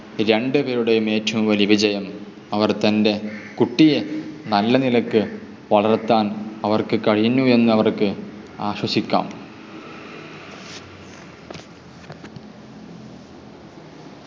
രണ്ടുപേരുടെയും ഏറ്റവും വലിയ വിജയം. അവർ തൻ്റെ കുട്ടിയെ നല്ല നിലക്ക് വളർത്താൻ അവർക്ക് കഴിഞ്ഞു എന്ന് അവർക്ക് ആശ്വസിക്കാം.